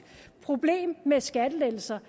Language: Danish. problem med skattelettelser